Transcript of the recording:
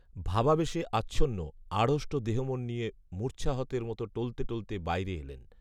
ভাবাবেশে আচ্ছন্ন, আড়ষ্ট দেহমন নিয়ে মূর্ছাহতের মতো টলতে টলতে বাইরে এলেন